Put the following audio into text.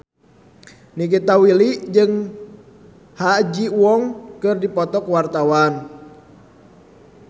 Nikita Willy jeung Ha Ji Won keur dipoto ku wartawan